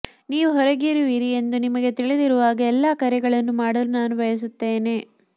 ನೀವು ಹೊರಗಿರುವಿರಿ ಎಂದು ನಿಮಗೆ ತಿಳಿದಿರುವಾಗ ಎಲ್ಲ ಕರೆಗಳನ್ನು ಮಾಡಲು ನಾನು ಬಯಸುತ್ತೇನೆ